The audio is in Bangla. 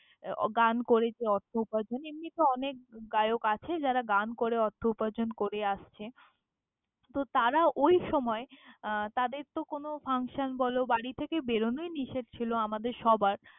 গান করে যে অর্থ উপার্জন এমনি তো অনেক গায়ক আছে যারা, গান করে অর্থ উপার্জন করে আসছে তো তার ওই সময় আহ তাদের তো কোনো function বলো, বাড়ি থেকে বেরোনোই নিষেধ ছিল, আমাদের সবার।